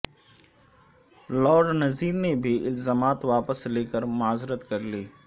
lord Nazir نےبھی الزامات واپس لے کر معذرت کرلی